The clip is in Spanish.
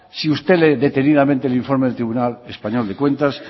si usted lee detenidamente el informe del tribunal español de cuentas